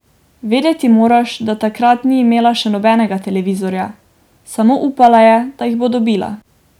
Vedeti moraš, da takrat ni imela še nobenega televizorja, samo upala je, da jih bo dobila.